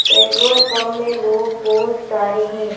Petrol pump में लोग बहोत सारे हैं।